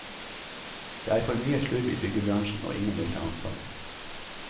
Det er for mye slurv i byggebransjen, og ingen vil ta ansvar.